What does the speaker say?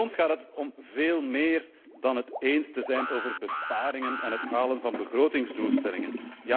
Voor ons gaat het om veel meer dan het eens te zijn over besparingen en het halen van begrotingsdoelstellingen.